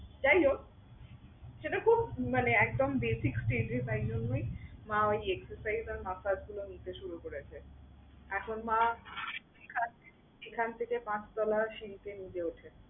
যাই হোক সেটা খুব মানে একদম basic stage এ তাই জন্যই মা ঐ exercise আর massage গুলো নিতে শুরু করেছে। এখন মা এখান এখান থেকে পাঁচ তলা সিঁড়িতে নিজে উঠে।